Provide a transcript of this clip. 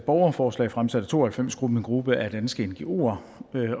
borgerforslag fremsat af to og halvfems gruppen gruppe af danske ngoer